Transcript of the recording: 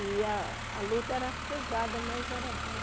E a a luta era pesada, mas era boa.